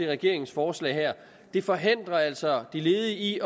regeringens forslag her det forhindrer altså de ledige i